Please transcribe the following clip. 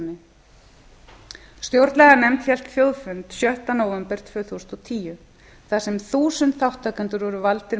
stjórnarskránni stjórnlaganefnd hélt þjóðfund sjötta nóvember tvö þúsund og tíu þar sem þúsund þátttakendur voru valdir